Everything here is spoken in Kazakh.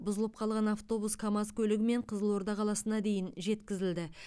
бұзылып қалған автобус камаз көлігімен қызылорда қаласына дейін жеткізілді